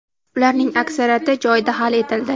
ularning aksariyati joyida hal etildi.